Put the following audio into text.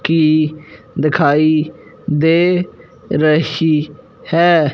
की दिखाई दे रही है।